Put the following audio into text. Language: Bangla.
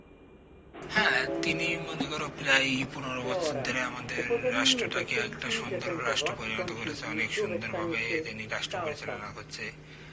হ্যাঁ তিনি মনে কর প্রায়ই পনেরো বছর ধরে আমাদের রাষ্ট্রটাকে একটা সুন্দর রাষ্ট্রে পরিণত করেছে অনেক সুন্দরভাবে তিনি রাষ্ট্র পরিচালনা করছে